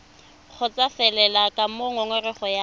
kgotsofalele ka moo ngongorego ya